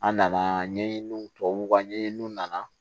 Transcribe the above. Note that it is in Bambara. An nana ɲɛɲiniw tubabuw ka ɲɛɲininw nana